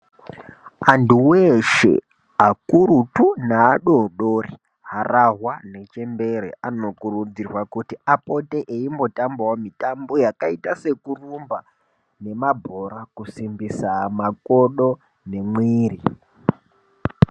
Vantu veshe, vakurutu nevadodori, harahwa nechembere, anokurudzirwa kuti apote eimbotambawo mitambo yakaita sekurumba nemabhora kusimbisa makodo nemwiri.